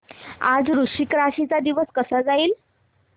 आज वृश्चिक राशी चा दिवस कसा जाईल